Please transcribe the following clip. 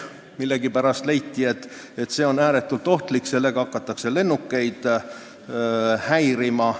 Millegipärast leiti, et see on ääretult ohtlik ja sellega hakatakse lennukeid häirima.